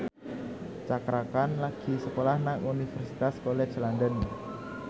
Cakra Khan lagi sekolah nang Universitas College London